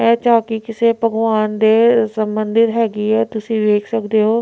ਇਹ ਚੌਂਕੀ ਕਿਸੇ ਭਗਵਾਨ ਦੇ ਸੰਬੰਧਿਤ ਹੈਗੀ ਹੈ ਤੁਸੀ ਵੇਖ ਸਕਦੇ ਹੋ।